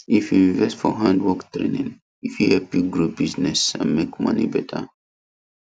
if you invest for handwork training e fit help you grow business and make money better